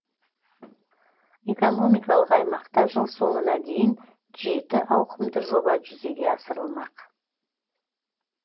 экономикалық аймақта жыл соңына дейін жеті ауқымды жоба жүзеге асырылмақ